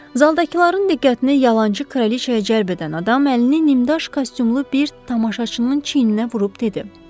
Zaldakıların diqqətini yalançı kraliçaya cəlb edən adam əlini nimdaş kostyumlu bir tamaşaçının çiyninə vurub dedi: